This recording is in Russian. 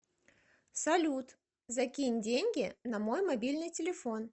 салют закинь деньги на мой мобильный телефон